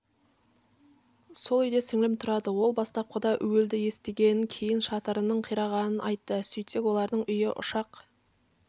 сол үйде сіңлім тұрады ол бастапқыда уілді естігенін кейін шатырының қирағанын айтты сөйтсек олардың үйі ұшақ